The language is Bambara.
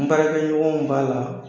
N baarakɛ ɲɔgɔnw b'a la